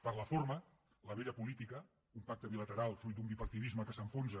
per la forma la vella política un pacte bilateral fruit d’un bipartidisme que s’enfonsa